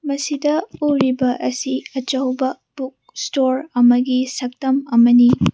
ꯃꯁꯤꯗ ꯎꯔꯤꯕ ꯑꯁꯤ ꯑꯆꯧꯕ ꯕꯨꯛ ꯁ꯭ꯇꯣꯔ ꯑꯃꯒꯤ ꯁꯛꯇꯝ ꯑꯃꯅꯤ꯫